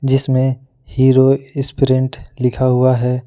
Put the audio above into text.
जिसमें Hero Sprint लिखा हुआ है।